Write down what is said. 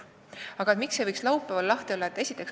Miks ei võiks perearstikeskused laupäeviti lahti olla?